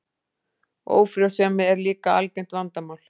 Ófrjósemi er líka algengt vandamál.